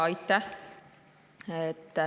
Aitäh!